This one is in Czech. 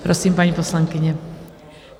Prosím, paní poslankyně.